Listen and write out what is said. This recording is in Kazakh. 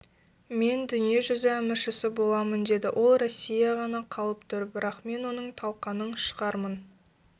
мен дүние жүзі әміршісі боламын деді ол россия ғана қалып тұр бірақ мен оның талқаның шығармын